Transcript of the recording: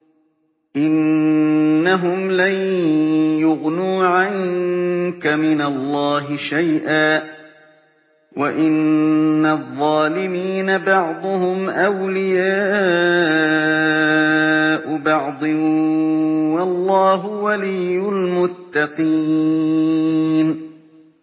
إِنَّهُمْ لَن يُغْنُوا عَنكَ مِنَ اللَّهِ شَيْئًا ۚ وَإِنَّ الظَّالِمِينَ بَعْضُهُمْ أَوْلِيَاءُ بَعْضٍ ۖ وَاللَّهُ وَلِيُّ الْمُتَّقِينَ